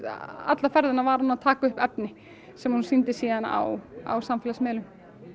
alla ferðina var hún að taka upp efni sem hún sýndi síðan á á samfélagsmiðlum